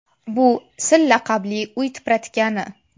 Bu Sil laqabli uy tipratikani.